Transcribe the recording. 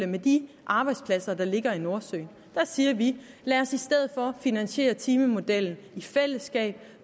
med de arbejdspladser der ligger i nordsøen der siger vi lad os i stedet for finansiere timemodellen i fællesskab